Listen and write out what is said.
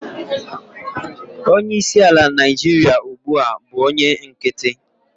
onye isi ala Naijiria ugbua bu onye nkiti